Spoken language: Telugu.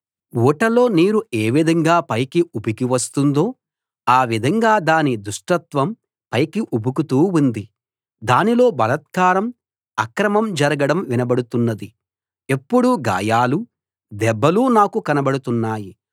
ఊటలో నీరు ఏవిధంగా పైకి ఉబికి వస్తుందో ఆ విధంగా దాని దుష్టత్వం పైకి ఉబుకుతూ ఉంది దానిలో బలాత్కారం అక్రమం జరగడం వినబడుతున్నది ఎప్పుడూ గాయాలు దెబ్బలు నాకు కనబడుతున్నాయి